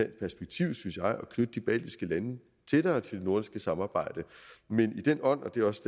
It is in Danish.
perspektiv synes jeg at knytte de baltiske lande tættere til det nordiske samarbejde men i den ånd og det er også